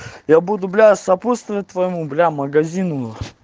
я буду бля сопутствовать бля твоему магазину